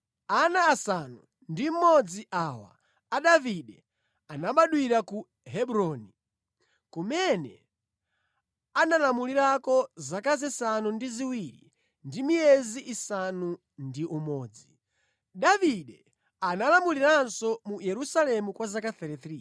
Ana asanu ndi mmodzi awa a Davide anabadwira ku Hebroni kumene analamulirako zaka zisanu ndi ziwiri ndi miyezi isanu ndi umodzi. Davide analamuliranso mu Yerusalemu kwa zaka 33,